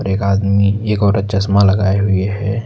एक आदमी एक औरत चश्मा लगाए हुए हैं।